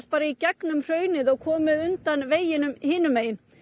í gegnum hraunið og komið undan veginum hinum megin